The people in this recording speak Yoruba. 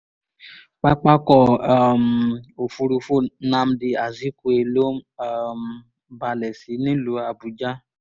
pápákọ̀ um òfurufú nnamdi azikwe ló um balẹ̀ sí nílùú àbújá